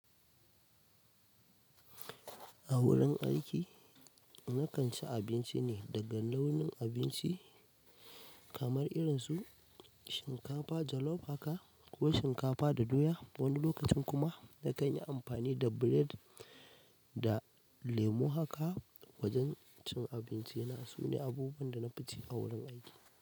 A wurin aiki, na kan ci abinci ne daga launin abinci kamar irin su shinkafa jollof haka ko shinkafa da doya. Wani lokacin kuma na kan yi amfani da bired da lemo haka. Wajen cin abinci na, su ne abubuwan da na fi ci a wurin aiki.